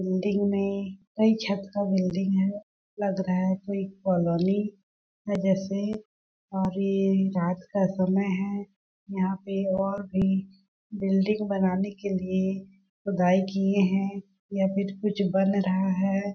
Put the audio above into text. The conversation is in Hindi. बिल्डिंग में कई छत का बिल्डिंग हैं लग रहा है पूरी कॉलोनी है जैसे अभी रात का समय हैं यहाँ पे और भी बिल्डिंग बनाने के लिए खुदाई किये हैं या फिर कुछ बन रहा है।